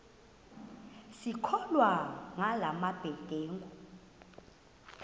sisakholwa ngala mabedengu